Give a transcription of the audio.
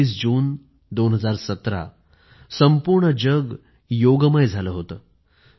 २१ जून २०१७ संपूर्ण जग योगमय झालं होतं